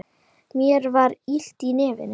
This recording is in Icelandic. Mér var illt í nefinu.